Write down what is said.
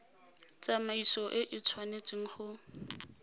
tsamaiso e e tshwanetseng go